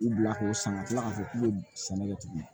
U bila k'o san ka tila k'a fɔ k'u bɛ sɛnɛ kɛ tuguni